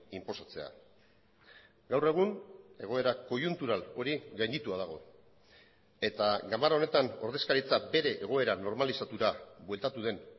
inposatzea gaur egun egoera koiuntural hori gainditua dago eta ganbara honetan ordezkaritza bere egoera normalizatura bueltatu den